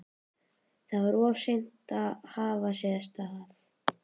Þá var of seint að hafa sig af stað.